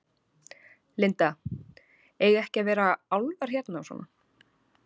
Linda: Eiga ekki að vera álfar hérna og svona?